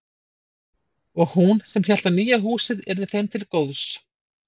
Og hún sem hélt að nýja húsið yrði þeim til góðs.